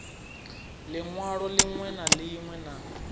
ḽiṋwalo ḽiṋwe na ḽiṋwe na